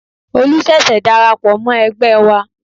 Olu ṣẹ̀ṣẹ̀ darapọ̀ mọ́ ẹgbẹ́ wa